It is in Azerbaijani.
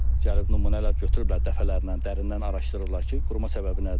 Gəlib nümunələr götürüblər dəfələrlə, dərindən araşdırırlar ki, quruma səbəbi nədir?